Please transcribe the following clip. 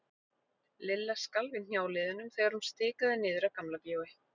Lilla skalf í hnjáliðunum þegar hún stikaði niður að Gamla bíói.